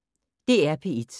DR P1